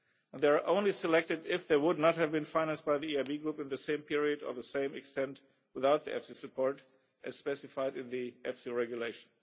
They are only selected if they would not have been financed by the EIB group in the same period or to the same extent without EFSI support, as specified in the EFSI Regulation.